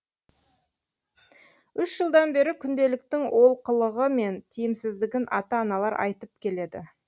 үш жылдан бері күнделіктің олқылығы мен тіимсіздігін ата аналар айтып келеді